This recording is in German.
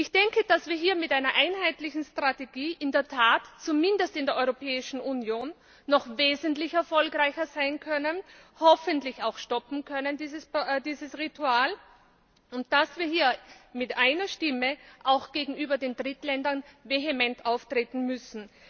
Ich denke, dass wir hier mit einer einheitlichen Strategie in der Tat zumindest in der Europäischen Union noch wesentlich erfolgreicher sein können, hoffentlich dieses Ritual auch stoppen können, und dass wir hier mit einer Stimme auch gegenüber den Drittstaaten vehement auftreten müssen.